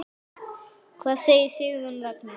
Hvað segir Sigurður Ragnar?